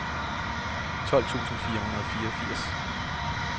tolv tusind fire hundrede og fireogfirs